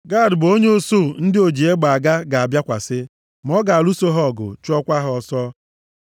“Gad bụ onye usuu ndị o-ji-egbe-aga ga-abịakwasị, ma ọ ga-alụso ha ọgụ, chụọkwa ha ọsọ.